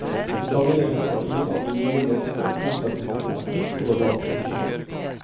Til sammenlikning har ingen av de nye norske prosatitlene et så lavt utlån.